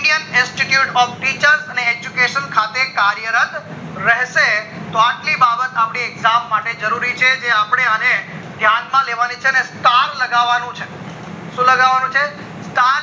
indian institute of teachers અને education ખાતે કાર્ય રદ રહેશે તો એટલી બાબત આપડી કામ માટે જરૂરી છે જે અપડે અને ધ્યાન માં લેવાની છે અને star લાગવાનું છે શું લાગવાનું છે star